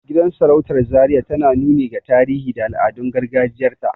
Gidan sarautar zaria tana nuni ga tarihi da al'adun gargajiyar ta